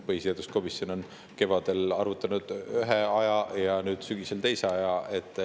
Põhiseaduskomisjon on kevadel arvutanud ühe aja ja nüüd sügisel teise aja.